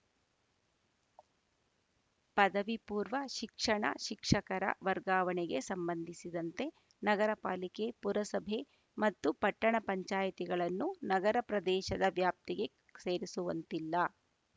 ಪದವಿ ಪೂರ್ವ ಶಿಕ್ಷಣ ಶಿಕ್ಷಕರ ವರ್ಗಾವಣೆಗೆ ಸಂಬಂಧಿಸಿದಂತೆ ನಗರಪಾಲಿಕೆ ಪುರಸಭೆ ಮತ್ತು ಪಟ್ಟಣ ಪಂಚಾಯಿತಿಗಳನ್ನು ನಗರ ಪ್ರದೇಶದ ವ್ಯಾಪ್ತಿಗೆ ಸೇರಿಸುವಂತಿಲ್ಲ